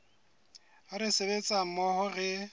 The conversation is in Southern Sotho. ha re sebetsa mmoho re